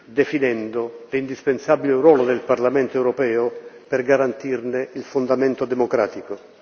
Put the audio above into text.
definendo l'indispensabile ruolo del Parlamento europeo per garantirne il fondamento democratico.